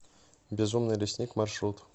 безумный лесник маршрут